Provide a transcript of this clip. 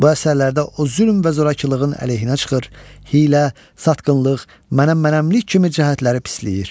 Bu əsərlərdə o zülm və zorakılığın əleyhinə çıxır, hiylə, satqınlıq, mənəm-mənəmlik kimi cəhətləri pisliyir.